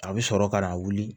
A bɛ sɔrɔ ka na wuli